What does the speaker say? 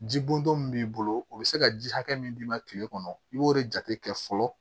Ji boto min b'i bolo o be se ka ji hakɛ min d'i ma kile kɔnɔ i b'o de jate kɛ fɔlɔ